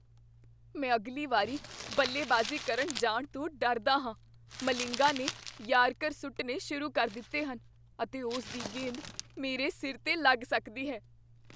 ਮੈਂ ਅਗਲੀ ਵਾਰੀ ਬੱਲੇਬਾਜ਼ੀ ਕਰਨ ਜਾਣ ਤੋਂ ਡਰਦਾ ਹਾਂ। ਮਲਿੰਗਾ ਨੇ ਯਾਰਕਰ ਸੁੱਟਣੇ ਸ਼ੁਰੂ ਕਰ ਦਿੱਤੇ ਹਨ ਅਤੇ ਉਸ ਦੀ ਗੇਂਦ ਮੇਰੇ ਸਿਰ 'ਤੇ ਲੱਗ ਸਕਦੀ ਹੈ।